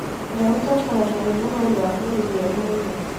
ũrĩa ũtongoragia wĩnogori wa mwĩrĩ nĩoĩ mũno